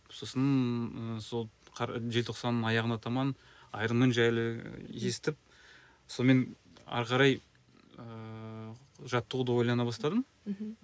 сосын ы сол желтоқсанның аяғына таман аэромен жайлы естіп сонымен ары қарай ыыы жаттығуды ойлана бастадым мхм